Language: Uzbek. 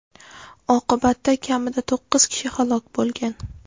Oqibatda kamida to‘qqiz kishi halok bo‘lgan.